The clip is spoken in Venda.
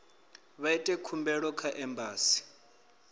vha ite khumbelo kha embasi